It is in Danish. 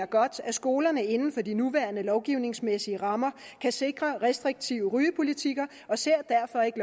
godt at skolerne inden for de nuværende lovgivningsmæssige rammer kan sikre restriktive rygepolitikker og ser derfor ikke